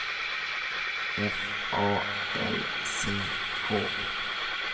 F A L C K